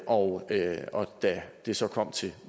og da det så kom til